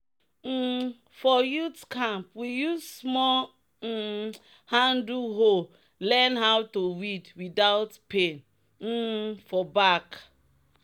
um "for youth camp we use small um handle hoe learn how to weed without pain um for back."